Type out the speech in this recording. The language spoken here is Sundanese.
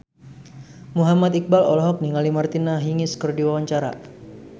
Muhammad Iqbal olohok ningali Martina Hingis keur diwawancara